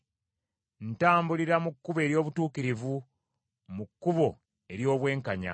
Ntambulira mu kkubo ery’obutuukirivu, mu kkubo ery’obwenkanya,